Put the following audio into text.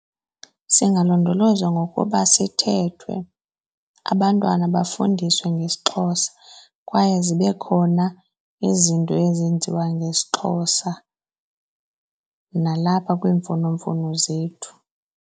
Singalondolozwa ngokuba sithethwe, abantwana bafundiswe ngesiXhosa kwaye zibe khona izinto ezenziwa ngesiXhosa nalapha kwiimfonomfono zethu.